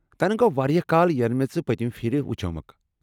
تنہٕ گوٚو وارِیاہ كال ینہٕ مے٘ پتِمہِ پھِرِ وُچھومَکھ۔